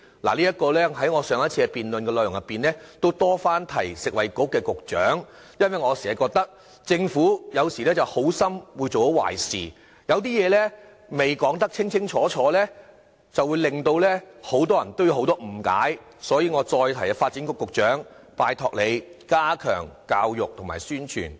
我在我上次的辯論發言的內容，已多番提醒食物及衞生局局長，因為我覺得政府有時候會好心做壞事，有很多事情未能說得清楚，令人產生很多誤解，所以我再次提醒發展局局長，拜託他加強教育和宣傳。